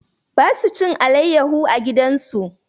Ba su cin alayyaho a gidan su.